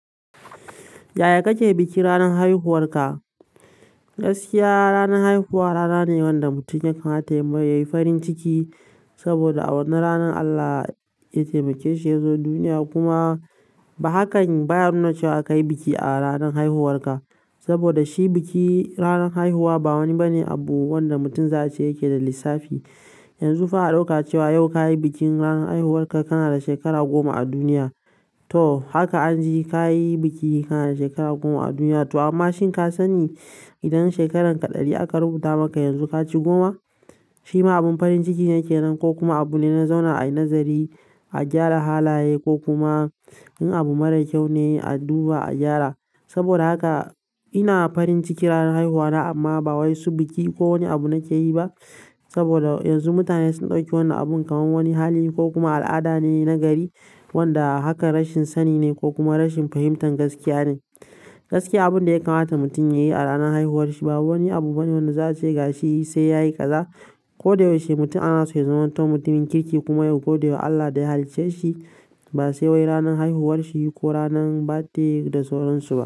Yaya kake biki ranar haihuwarka? Gaskiya ranar haihuwa rana ne wanda mutum ya kamata yayi farin ciki saboda a wannan ranar Allah ya taimake shi ya zo duniya. Kuma ba haka baya nuna cewa ka yi biki a ranar haihuwarka saboda shi biki ranar haihuwa ba wani bani abu wanda mutum za a ce yake da lissafi. Yanzu za'a dauka cewa yau kayi bikin ranar haihuwanka kana da shekara goma a duniya, toh haka anji kayi biki kana da shekara goma a duniya to amma shin ka sani idan shekararka ɗari aka rubuta maka yanzu ka ci goma? Shi ma abin farin ciki yake nan ko kuma abu ne na zauna a yi nazari, a gyara halaye ko kuma yin abu mara kyau ne a duba a gyara. Saboda haka ina farin ciki ranar haihuwana amma ba wai su biki ko wani abu nake yi ba. Saboda yanzu mutane sun ɗauki wannan abun kamar wani hali ko kuma al'ada ne na gari wanda haka rashin sani ne ko kuma rashin fahimtar gaskiya ne. Gaskiya abun da ya kamata mutum ya yi a ranar haihuwarsa ba wani abu bane wanda za a ce ga shi sai ya yi ƙaza. Ko da yaushe mutum ana so ya zama mutumin kirki kuma ya godewa Allah da ya hallice shi ba sai wai ranar haihuwarshi ko ranar badde da sauransu ba.